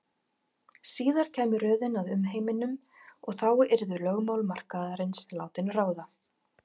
Síðar kæmi röðin að umheiminum og þá yrðu lögmál markaðarins látin ráða.